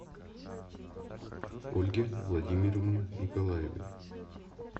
ольге владимировне николаевой